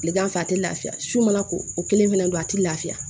Tilegan fɛ a tɛ lafiya su mana ko o kelen fɛnɛ don a tɛ lafiya